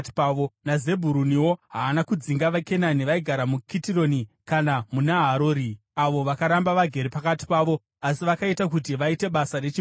NaZebhuruniwo haana kudzinga vaKenani vaigara muKitironi kana muNaharori, avo vakaramba vagere pakati pavo; asi vakaita kuti vaite basa rechibharo.